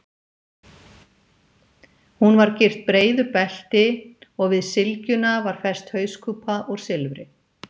Hún var gyrt breiðu belti og við sylgjuna var fest hauskúpa úr silfri.